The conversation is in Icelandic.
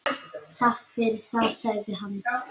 Takk fyrir það- sagði hann.